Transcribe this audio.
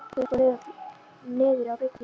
Lalli hentist í loftköstum niður á bryggju.